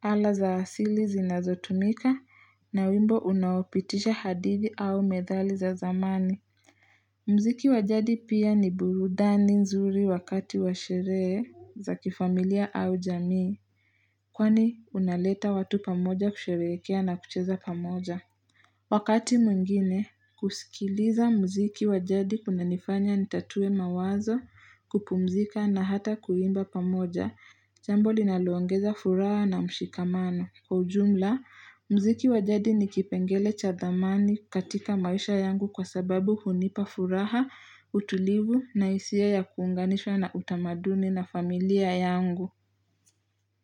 ala za asili zinazotumika, na wimbo unaopitisha hadhiti au methali za zamani. Mziki wa jadi pia ni burudani nzuri wakati wa sherehe za kifamilia au jamii, kwani unaleta watu pamoja kusherekea na kucheza pamoja. Wakati mwingine, kusikiliza mziki wa jadi kunanifanya nitatue mawazo, kupumzika na hata kuimba pamoja, jambo linaloongeza furaha na mshikamano. Kwa ujumla, mziki wa jadi ni kipengele cha thamani katika maisha yangu kwa sababu hunipa furaha, utulivu, na hisia ya kuunganishwa na utamaduni na familia yangu.